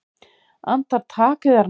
Andartak, yðar náð!